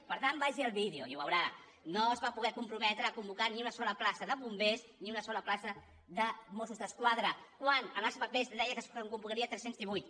per tant vagi al vídeo i ho veurà no es va poder comprometre a convocar ni una sola plaça de bombers ni una sola plaça de mossos d’esquadra quan en els papers es deia que se’n convocarien tres cents i divuit